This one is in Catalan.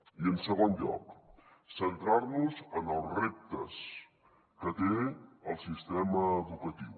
i en segon lloc centrar nos en els reptes que té el sistema educatiu